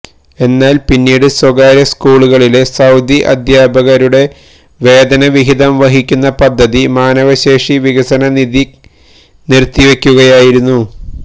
എന്നാൽ പിന്നീട് സ്വകാര്യ സ്കൂളുകളിലെ സൌദി അധ്യാപകരുടെ വേതന വിഹിതം വഹിക്കുന്ന പദ്ധതി മാനവശേഷി വികസന നിധി നിർത്തിവെക്കുകയായിരുന്നു